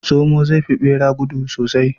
Zomo zai fi bera gudu sosai